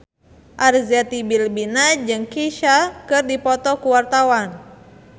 Arzetti Bilbina jeung Kesha keur dipoto ku wartawan